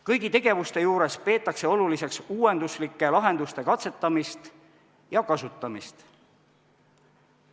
Kõigi tegevuste juures peetakse oluliseks uuenduslike lahenduste katsetamist ja kasutamist.